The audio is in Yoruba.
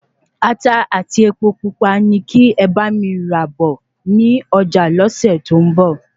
Ata ati Epo pupa ní kí e bá mi rà bọ ni ọjà lọ́sẹ̀ to n bo